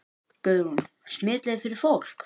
Guðrún: Smitleið fyrir fólk?